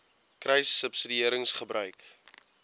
kruissubsidiëringgebruik